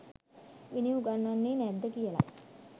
විනය උගන්වන්නේ නැද්ද කියලයි.